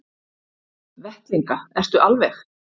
Vettlinga, ertu alveg.